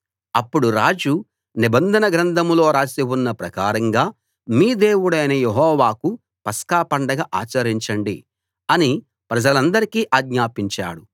అప్పుడు రాజు నిబంధన గ్రంథంలో రాసి ఉన్న ప్రకారంగా మీ దేవుడైన యెహోవాకు పస్కా పండగ ఆచరించండి అని ప్రజలందరికీ ఆజ్ఞాపించాడు